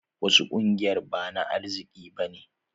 Wasu ƙungiyar ba na arziki ba ne.